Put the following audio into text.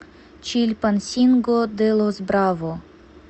чильпансинго де лос браво